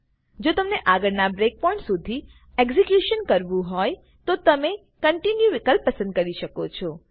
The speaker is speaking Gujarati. જો તમેને આગળના બ્રેક પોઈન્ટ શુધી એક્ઝેક્યુશન કરવું હોય તો તમે કોન્ટિન્યુ વિકલ્પ પસંદ કરી શકો છો